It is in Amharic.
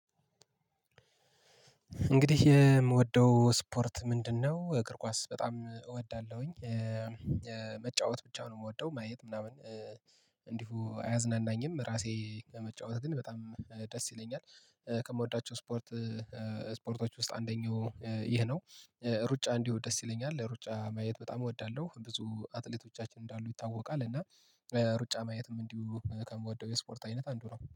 እንግዲህ የምወደው ስፖርት ምንድነው? እግር ኳስ በጣም እወዳለሁኝ መጫወት ብቻ ነው የምወደው ማየት ምናምን። እንዲሁ አያዝናናኝም ራሴ ከመጫወት ግን በጣም ደስ ይለኛል። ከምወዳቸው ስፖርት ስፖርቶች ውስጥ አንደኛው ይህ ነው። ሩጫ እንዲሁ ደስ ይለኛል ለሩጫ ማየት በጣም እወዳለሁ ብዙ አትሌቶቻችን እንዳሉ ይታወቃል እና ሩጫ ማየትም እንዲሁ ከምወደው የስፖርት አይነት አንዱ ነው